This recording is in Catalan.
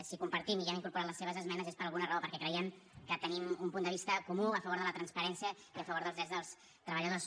si ho compartim i hem incorporat les seves esmenes és per alguna raó perquè creiem que tenim un punt de vista comú a favor de la transparència i a favor dels drets dels treballadors